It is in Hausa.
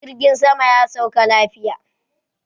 Jirgin saman ya sauka lafiya